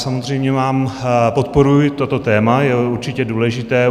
Samozřejmě mám - podporuji toto téma, je určitě důležité.